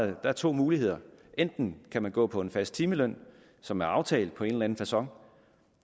der er to muligheder enten kan man gå på en fast timeløn som er aftalt på en eller anden facon